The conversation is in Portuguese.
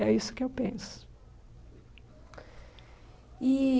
É isso que eu penso e